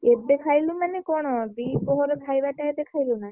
ଏବେ ଖାଇଲୁ ମାନେ କଣ ଦି ପହର ଖାଇ ବାଟା ଏବେ ଖାଇଲୁ ନା କଣ?